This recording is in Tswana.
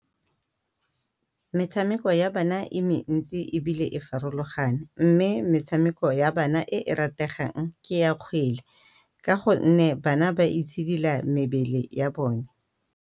Metshameko ya bana e mentsi ebile e farologane, mme metshameko ya bana e e rategang ke ya kgwele. Ka go nne bana ba itshidila mebele ya bone.